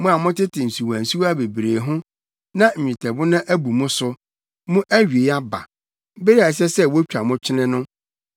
Mo a motete nsuwansuwa bebree ho na nnwetɛbona abu mo so, mo awiei aba, bere a ɛsɛ sɛ wotwa mo kyene no.